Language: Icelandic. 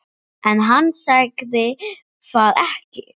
En hann sagði það ekki.